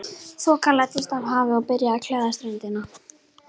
Þoka læddist af hafi og byrjaði að klæða ströndina.